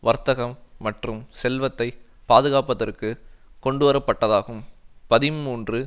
வர்த்தகம் மற்றும் செல்வத்தை பாதுகாப்பதற்கு கொண்டுவரப்பட்டதாகும் பதின்மூன்று